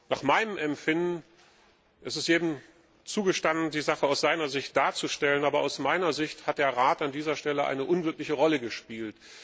Nach meinem Empfinden ist es jedem zugestanden, die Sache aus seiner Sicht darzustellen, aber aus meiner Sicht hat der Rat an dieser Stelle eine unglückliche Rolle gespielt.